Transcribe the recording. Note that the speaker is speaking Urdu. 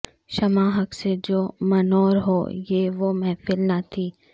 شمع حق سے جو منور ہو یہ وہ محفل نہ تھی